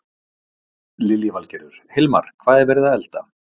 Lillý Valgerður: Hilmar, hvað er verið að elda?